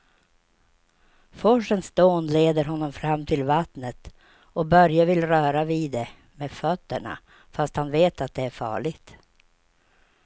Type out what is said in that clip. Forsens dån leder honom fram till vattnet och Börje vill röra vid det med fötterna, fast han vet att det är farligt.